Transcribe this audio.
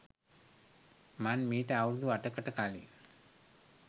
මං මීට අවුරුදු අටකට කලින්